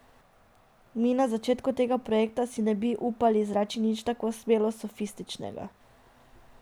Mi, na začetku tega projekta si ne bi upali izreči nič tako smelo sofističnega.